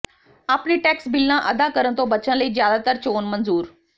ਆਪਣੇ ਟੈਕਸ ਬਿੱਲਾਂ ਅਦਾ ਕਰਨ ਤੋਂ ਬਚਣ ਲਈ ਜ਼ਿਆਦਾਤਰ ਚੋਣ ਮਨਜ਼ੂਰ